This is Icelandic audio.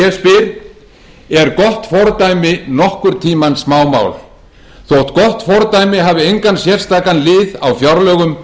en ég spyr er gott fordæmi nokkurn tíma smámál þótt gott fordæmi hafi engan sérstakan lið á fjárlögum